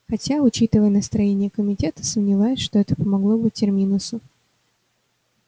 хотя учитывая настроения комитета сомневаюсь что это помогло бы терминусу